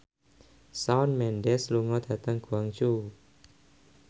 Shawn Mendes lunga dhateng Guangzhou